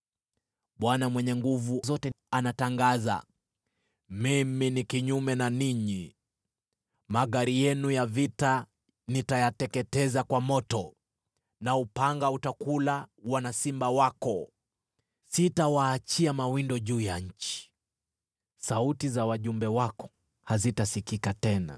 Bwana Mwenye Nguvu Zote anatangaza, “Mimi ni kinyume na ninyi. Magari yenu ya vita nitayateketeza kwa moto, na upanga utakula wana simba wako. Sitawaachia mawindo juu ya nchi. Sauti za wajumbe wako hazitasikika tena.”